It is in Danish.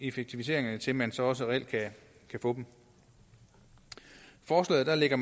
effektiviseringerne til man så også reelt kan få dem forslaget lægger